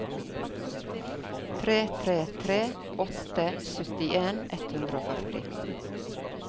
tre tre tre åtte syttien ett hundre og førti